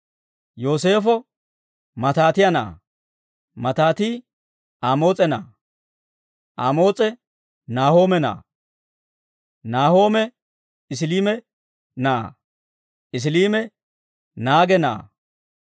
Yooseefo Maataatiyaa na'aa; Maataati Amoos'e na'aa; Amoos'e Naahoome na'aa; Naahoome Esiliime na'aa; Esiliime Naage na'aa;